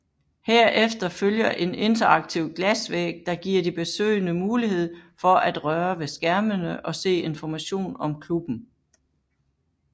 Herefter følger en interaktiv glasvæg der giver de besøgende mulighed for at røre ved skærmene og se information om klubben